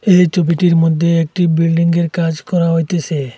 এই ছবিটির মদ্যে একটি বিল্ডিং -এর কাজ করা হইতেসে।